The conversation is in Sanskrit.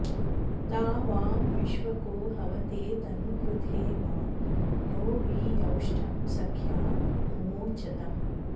ता वां विश्वको हवते तनूकृथे मा नो वि यौष्टं सख्या मुमोचतम्